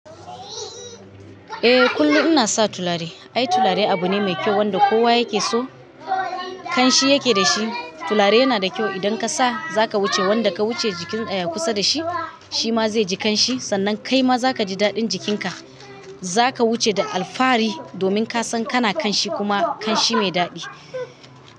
Eh kullum ina sa tulare. Ai tulare abu ne mai kyau wanda kowa yake so, ƙanshi yake dashi. Tulare yana da kyau idan ka sa za ka wuce wanda ka wuce jikin eh kusa da shi, shi ma zai ji kanshi sannan kai ma za ka ji daɗin jikinka. Za ka wuce da alfahari domin ka san kana ƙanshi kuma ƙanshi mai daɗi.